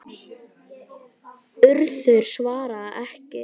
Urður svarað ekki.